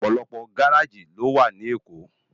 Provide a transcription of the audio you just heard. Òpòlòpò gáráji ló wá ni Ékó